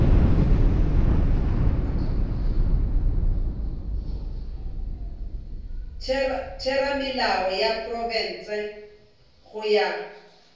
theramelao ya profense go ya